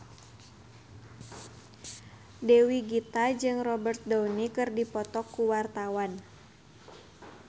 Dewi Gita jeung Robert Downey keur dipoto ku wartawan